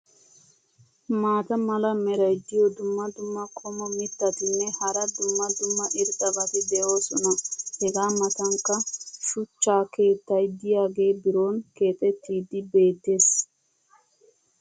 maata mala meray diyo dumma dumma qommo mitattinne hara dumma dumma irxxabati de'oosona. hegaa matankka shuchcha keettay diyaagee biron keexettiidi beetees.